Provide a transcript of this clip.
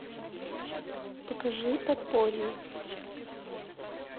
покажи подполье